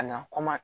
Ka na kɔmɔ